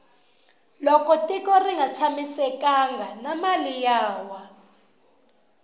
loko gtiko rnga tshamisekangi na mali ya wa